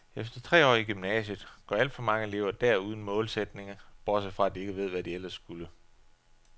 Efter tre år i gymnasiet, går alt for mange elever dér uden målsætning, bortset fra at de ikke ved, hvad de ellers skulle.